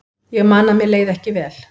Ég man að mér leið ekki vel.